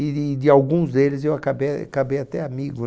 E e de alguns deles eu acabei acabei até amigo.